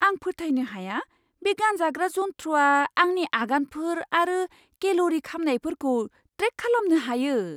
आं फोथायनो हाया बे गानजाग्रा जन्थ्रआ आंनि आगानफोर आरो केल'रि खामनायफोरखौ ट्रेक खालामनो हायो।